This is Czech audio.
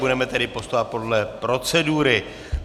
Budeme tedy postupovat podle procedury.